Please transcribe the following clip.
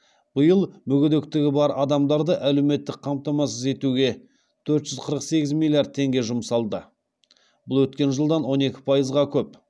биыл мүгедектігі бар адамдарды әлеуметтік қамтамасыз етуге төрт жүз қырық сегіз миллиард теңге жұмсалды бұл өткен жылдан он екі пайызға көп